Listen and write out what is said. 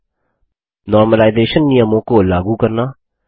normalisation सामान्यकरण नियमों को लागू करना